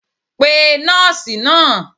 pe nọọsi naa!